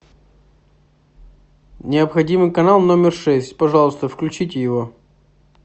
необходимый канал номер шесть пожалуйста включите его